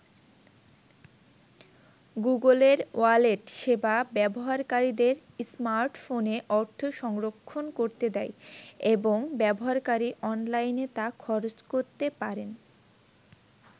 গুগলের ওয়ালেট সেবা ব্যবহারকারীদের স্মার্টফোনে অর্থ সংরক্ষণ করতে দেয় এবং ব্যবহারকারী অনলাইনে তা খরচ করতে পারেন।